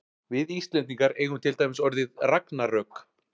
við íslendingar eigum til dæmis orðið ragnarök